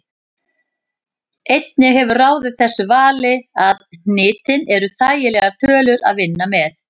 Einnig hefur ráðið þessu vali að hnitin eru þægilegar tölur að vinna með.